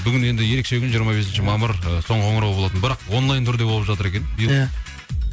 бүгін енді ерекше күн жиырма бесінші мамыр ы соңғы қоңырау болатын бірақ онлайн түрінде болып жатыр екен иә